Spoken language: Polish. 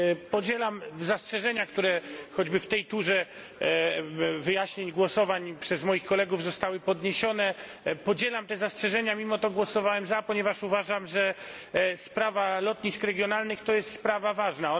Podzielam zastrzeżenia, które choćby w tej turze wyjaśnień głosowań przez moich kolegów zostały podniesione, podzielam te zastrzeżenia, mimo to głosowałem za, ponieważ uważam, że sprawa lotnisk regionalnych to jest sprawa ważna.